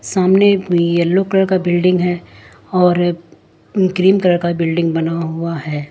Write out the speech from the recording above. सामने yellow colour का building है और ग्रीन कलर का बिल्डिंग बना हुआ है।